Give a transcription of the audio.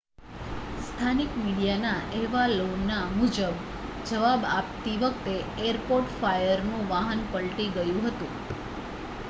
સ્થાનિક મીડિયાના અહેવાલો મુજબ જવાબ આપતી વખતે એરપોર્ટ ફાયરનું વાહન પલટી ગયું હતું